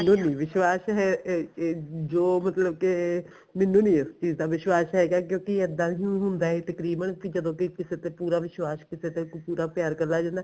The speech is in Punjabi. ਮੈਨੂੰ ਨੀ ਵਿਸ਼ਵਾਸ਼ ਹੈ ਇਹ ਇਹ ਜੋ ਮਤਲਬ ਕੇ ਮੈਨੂੰ ਨੀ ਇਸ ਚੀਜ਼ ਦਾ ਵਿਸਵਾਸ਼ ਹੈਗਾ ਕਿਉਂਕਿ ਇੱਦਾਂ ਹੁੰਦਾ ਏ ਤਕਰੀਬਨ ਕੀ ਜਦੋਂ ਕੀ ਕਿਸੇ ਤੇ ਪੂਰਾ ਵਿਸ਼ਵਾਸ਼ ਕੀਤਾ ਜਾਵੇ ਫੇਰ ਪੂਰਾ ਪਿਆਰ ਕਰਨ ਲੱਗ ਜਾਂਦਾ